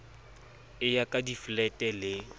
eo ya diflete le c